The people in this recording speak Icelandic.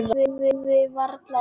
Og sagði varla orð.